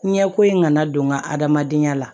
Ɲɛko in kana don n ka adamadenya la